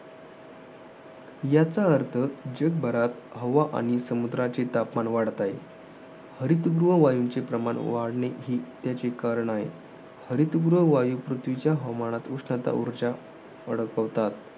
याचा अर्थ जगभरात हवा आणि समुद्राचे तापमान वाढत आहे. हरितगृह वायूंचे प्रमाण वाढणे, ही त्याची करणे आहे. हरितगृह वायू, पृथ्वीच्या हवामानात उष्णता, उर्जा वाढवतात.